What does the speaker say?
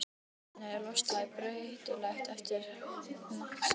Í tempraða beltinu er loftslagið breytilegt eftir hnattstöðu.